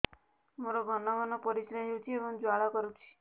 ମୋର ଘନ ଘନ ପରିଶ୍ରା ହେଉଛି ଏବଂ ଜ୍ୱାଳା କରୁଛି